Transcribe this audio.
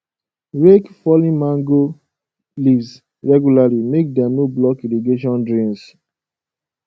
rake fallen mango leaves regularly make dem no block irrigation drains